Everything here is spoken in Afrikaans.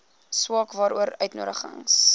saak waaroor uitnodigings